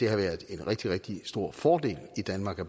har været en rigtig rigtig stor fordel i danmark at